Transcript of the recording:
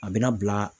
A bɛna bila